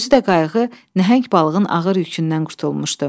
Özü də qayıq nəhəng balığın ağır yükündən qurtulmuşdu.